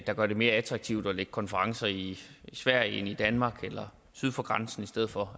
der gør det mere attraktivt at lægge konferencer i sverige end i danmark eller syd for grænsen i stedet for